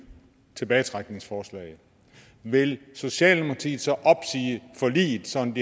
tilbagetrækningsforslag vil socialdemokratiet så opsige forliget sådan